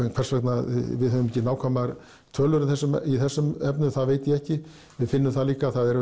en hvers vegna við höfum ekki nákvæmar tölur í þessum í þessum efnum það veit ég ekki við finnum það líka að það er